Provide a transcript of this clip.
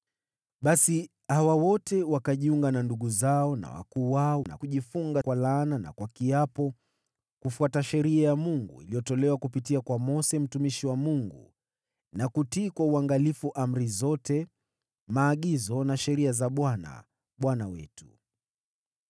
basi hawa wote wanajiunga na ndugu zao na wakuu wao, na kujifunga kwa laana na kwa kiapo kufuata Sheria ya Mungu iliyotolewa kupitia kwa Mose mtumishi wa Mungu, na kutii kwa uangalifu amri zote, maagizo na sheria za Bwana , Bwana wetu.